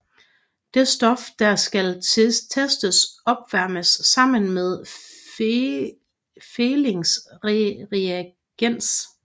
Det stof der skal testes opvarmes sammen med Fehlings reagens